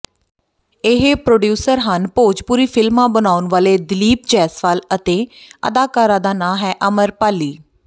ਇਹ ਪ੍ਰੋਡਿਊਸਰ ਹਨ ਭੋਜਪੁਰੀ ਫਿਲਮਾਂ ਬਣਾਉਣ ਵਾਲੇ ਦਿਲੀਪ ਜੈਸਵਾਲ ਅਤੇ ਅਦਾਕਾਰਾ ਦਾ ਨਾਂਅ ਹੈ ਅਮਰਪਾਲੀ